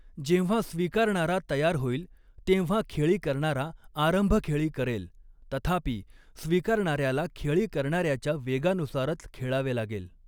जेव्हा स्वीकारणारा तयार होईल, तेव्हा खेळी करणारा आरंभखेळी करेल, तथापि स्वीकारणार्याला खेळी करणार्याच्या वेगानुसारच खेळावे लागेल.